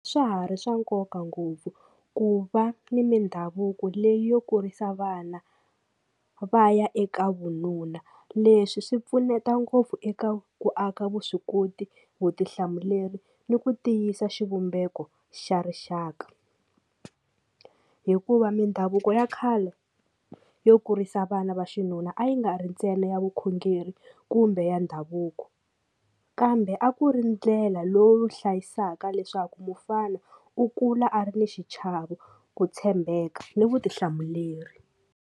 Swa ha ri swa nkoka ngopfu ku va ni mindhavuko leyi yo kurisa vana va ya eka vununa leswi swi pfuneta ngopfu eka ku aka vuswikoti vutihlamuleri ni ku tiyisa xivumbeko xa rixaka hikuva mindhavuko ya khale yo kurisa vana va xinuna a yi nga ri ntsena ya vukhongeri kumbe ya ndhavuko kambe a ku ri ndlela lowu hlayisaka leswaku mufana u kula a ri ni xichavo ku tshembeka ni vutihlamuleri.